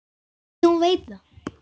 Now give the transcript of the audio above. Því hún veit það.